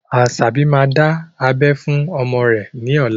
Asabi máa dá abẹ́ fún ọmọ rẹ ní ọ̀la